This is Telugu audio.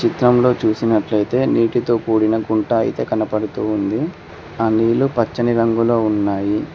చిత్రంలో చూసినట్లయితే నీటితో కూడిన గుంట అయితే కనపడుతుంది ఆ నీళ్లు పచ్చని రంగులో ఉన్నాయి.